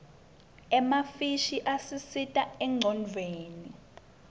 emafishi asisita engcondvweni